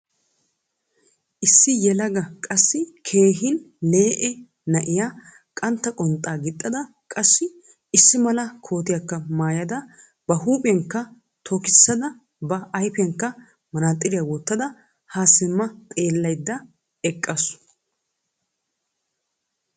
Issi yelaga qassi keehin lee'e na'iyaa qantta qonxxa gixxada qassi issi mala kootiyakka maayyada ba huuphphiyakka tokkosisada ba ayfiyankka manaxxiriya wottada ha simma xeelaydda eqqaasu.